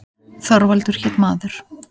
Þorvaldur hét maður.